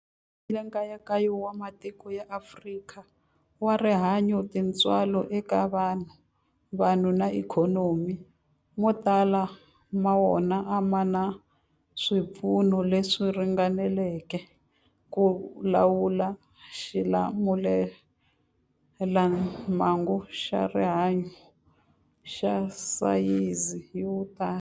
Nkayakayo wa matiko ya Afrika wa rihanyu, tintswalo eka vanhu, vanhu na ikhonomi, mo tala ma wona a ma na swipfuno leswi ringaneleke ku lawula xilamulelamhangu xa rihanyu xa sayizi yo tani.